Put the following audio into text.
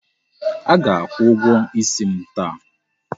A ga-akwụ ụgwọ isi m taa.